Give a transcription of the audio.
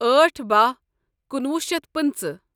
أٹھ بہہ کنُوہ شیتھ پنژٕہ